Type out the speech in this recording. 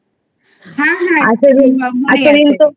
হ্যাঁ হ্যাঁ